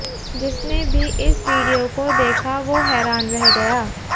जिसने भी इस वीडियो को देखा वो हैरान रह गया